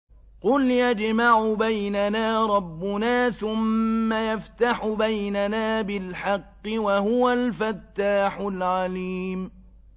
قُلْ يَجْمَعُ بَيْنَنَا رَبُّنَا ثُمَّ يَفْتَحُ بَيْنَنَا بِالْحَقِّ وَهُوَ الْفَتَّاحُ الْعَلِيمُ